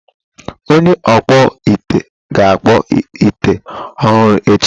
Onye okpụ ite ga akpụ ite ọhụrụ echi.